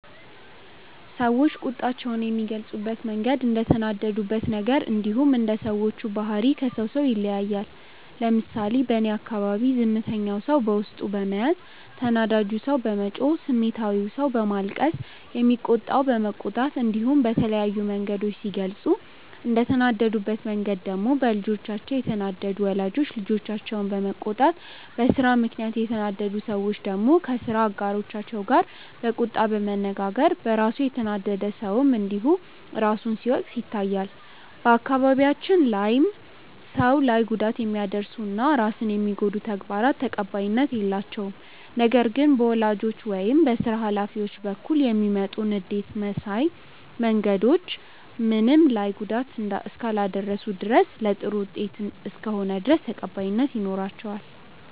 ሰዎች ቁጣቸውን የሚገልጹበት መንገድ እንደተናደዱበት ነገር እንዲሁም እንደ ሰዎቹ ባህሪ ከሰው ሰው ይለያያል። ለምሳሌ በእኔ አካባቢ ዝምተኛው ሰው በውስጡ በመያዝ፣ ተናዳጁ ሰው በመጮህ፣ ስሜታዊው ሰው በማልቀስ፣ የሚቆጣው በመቆጣት እንዲሁም በተለያዩ መንገዶች ሲገልጹ፤ እንደተናደዱበት መንገድ ደግሞ በልጆቻቸው የተናደዱ ወላጆች ልጆቻቸውን በመቆጣት፣ በስራ ምክንያት የተናደዱ ሰዎች ደግሞ ከስራ አጋሮቻቸው ጋር በቁጣ በመነጋገር፣ በራሱ የተናደደ ሰውም እንዲሁ ራሱን ሲወቅስ ይታያል። በአካባቢያችን ላይም ሰው ላይ ጉዳት የሚያደርሱ እና ራስን የሚጎዱ ተግባራት ተቀባይነት የላቸውም። ነገር ግን በወላጆች ወይም በስራ ሀላፊዎች በኩል የሚመጡ ንዴት ማሳያ መንገዶች ምንም ላይ ጉዳት እስካላደረሱ ድረስ እና ለጥሩ ውጤት እስከሆነ ድረስ ተቀባይነት ይኖራቸዋል።